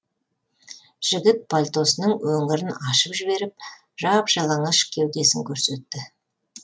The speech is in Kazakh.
жігіт пальтосының өңірін ашып жіберіп жап жалаңаш кеудесін көрсетті